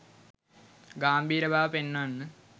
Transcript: ගාම්භීර බව පෙන්වන්න